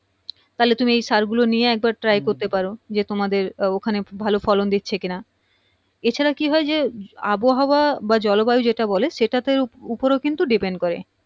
তাহলে তুমি এই সার গুলো নিয়ে হ্যাঁ একবার try করতে পারো যে তোমাদের ওখানে ভালো ফলন দিচ্ছে কিনা এছাড়া কি হয় যে আবহাওয়া বা জলবায়ু যেটা বলে সেটার উপরেও কিন্তু depend করে